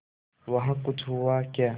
वहाँ कुछ हुआ क्या